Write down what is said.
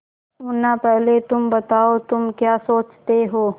मुन्ना पहले तुम बताओ तुम क्या सोचते हो